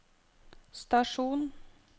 stasjon